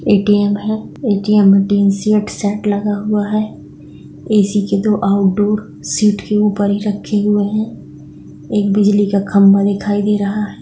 ATM है ATM में तीन सीट सेट लगा हुआ हैए.सी के दो आउटडोर सीट के ऊपर ही रखे हुए हैं एक बिजली का खंबा दिखाई दे रहा है।